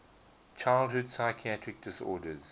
childhood psychiatric disorders